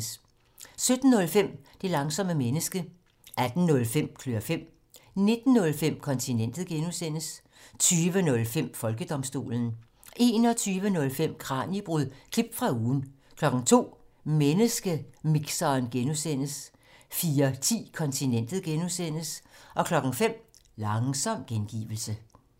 17:05: Det langsomme menneske 18:05: Klør fem 19:05: Kontinentet (G) 20:05: Folkedomstolen 21:05: Kraniebrud – klip fra ugen 02:00: Menneskemixeren (G) 04:10: Kontinentet (G) 05:00: Langsom gengivelse